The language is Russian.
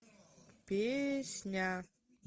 песня